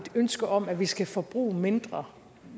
ønske om at vi skal forbruge mindre